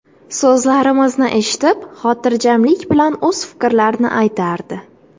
So‘zlarimizni eshitib, xotirjamlik bilan o‘z fikrlarini aytardi.